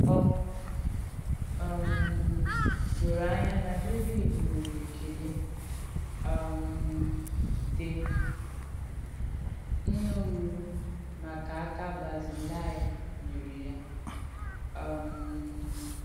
Ọ um dòrò ànyá nà Dévìd nwèrè èkélé um dị̀ nnùrụ̀rù makà àkà Bazilaị nyèrè ya. um